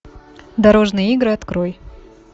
дорожные игры открой